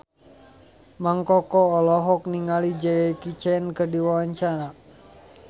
Mang Koko olohok ningali Jackie Chan keur diwawancara